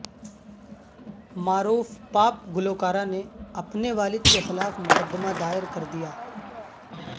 معروف پاپ گلوکارہ نے اپنے والد کے خلاف مقدمہ دائر کردیا